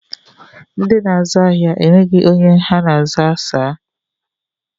Ndị na-azụ ahịa enweghị onye ha na-aza saa